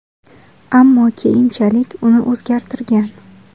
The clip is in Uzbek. Ammo keyinchalik uni o‘zgartirgan.